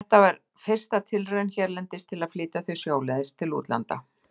Þetta var fyrsta tilraun hérlendis til að flytja þau sjóleiðis til útlanda.